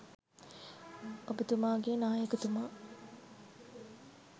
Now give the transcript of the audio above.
ඔබ්තුමාගේ නායකතුමා